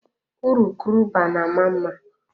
Urukurubụba na-ama mma.